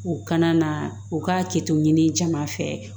U kana na u ka kɛto ɲini caman fɛ